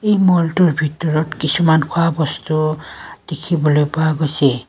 এই ম'লটোৰ ভিতৰত কিছুমান খোৱা বস্তু দেখিবলৈ পোৱা গৈছে।